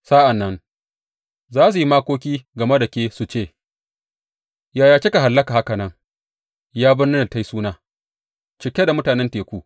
Sa’an nan za su yi makoki game da ke su ce, Yaya kika hallaka haka nan, ya birnin da ta yi suna, cike da mutanen teku!